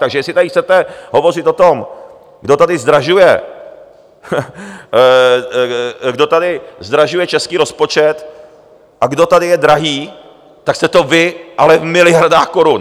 Takže jestli tady chcete hovořit o tom, kdo tady zdražuje, kdo tady zdražuje český rozpočet a kdo tady je drahý, tak jste to vy, ale v miliardách korun.